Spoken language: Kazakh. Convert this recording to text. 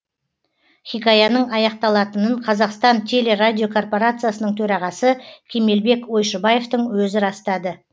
хикаяның аяқталатынын қазақстан телерадиокорпорациясының төрағасы кемелбек ойшыбаевтың өзі растады